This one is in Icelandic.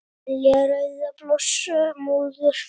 Belja rauðar blossa móður